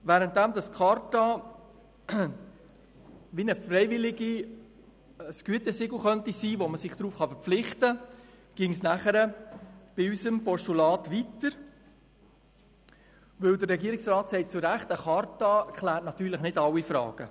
Während die Charta eine Art freiwilliges Gütesiegel sein könnte, auf das man sich verpflichten kann, würde es bei unserem Postulat weitergehen, denn der Regierungsrat sagt zu Recht, eine Charta kläre nicht alle Fragen.